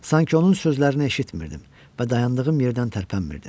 Sanki onun sözlərini eşitmirəm və dayandığım yerdən tərpənmirdim.